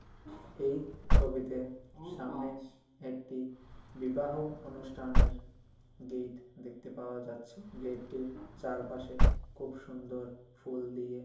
এই ছবিতে সামনে একটি বিবাহ অনুষ্ঠানের গেট দেখতে পাওয়া যাচ্ছে গেট -টির চারপাশে খুব সুন্দর ফুল দিয়ে--